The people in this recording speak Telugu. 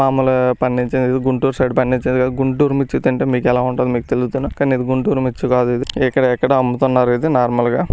మామూలుగా పండిచేది గుంటూరు సైడ్ పండిచింది కాదు గుంటూరు మిర్చి తింటే మీకెలా ఉంటదో మీకు తెలుతున కాదు గుంటూరు మిర్చి కాదు ఇది ఇకాడెక్కడో అమ్ముతున్నారు ఇది.